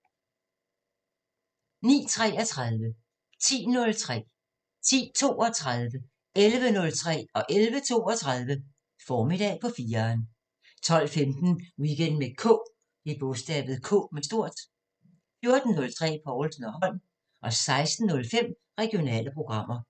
09:33: Formiddag på 4'eren 10:03: Formiddag på 4'eren 10:32: Formiddag på 4'eren 11:03: Formiddag på 4'eren 11:32: Formiddag på 4'eren 12:15: Weekend med K 14:03: Povlsen & Holm 16:05: Regionale programmer